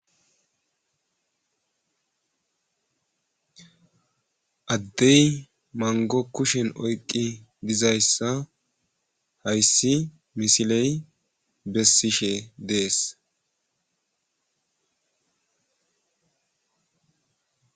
Adey mango kushen oyqi mizaysa haysi misiley besishe des